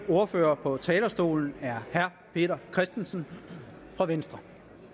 ordfører på talerstolen er herre peter christensen fra venstre